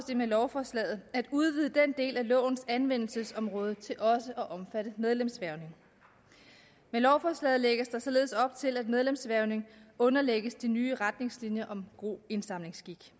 det med lovforslaget at udvide den del af lovens anvendelsesområde til også at omfatte medlemshvervning med lovforslaget lægges der således op til at medlemshvervning underlægges de nye retningslinjer om god indsamlingsskik